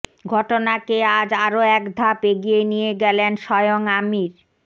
ঘটনাকে আজ আরও একধাপ এগিয়ে নিয়ে গেলেন স্বয়ং আমির